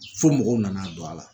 Fo mɔgɔw nana don a la